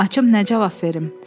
Açıb nə cavab verim?